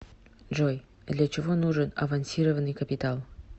джой для чего нужен авансированный капитал